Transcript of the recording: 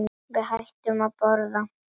Við hættum að borða.